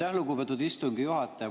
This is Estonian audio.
Aitäh, lugupeetud istungi juhataja!